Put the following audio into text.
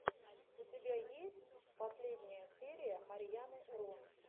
у тебя есть последняя серия марьяны ро